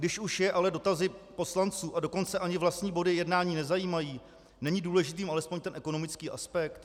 Když už je ale dotazy poslanců, a dokonce ani vlastní body jednání nezajímají, není důležitým alespoň ten ekonomický aspekt?